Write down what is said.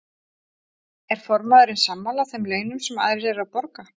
Er formaðurinn sammála þeim launum sem aðrir eru að borga?